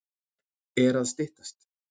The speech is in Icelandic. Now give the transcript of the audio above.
Er að styttast?